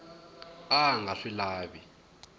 a a nga swi lavi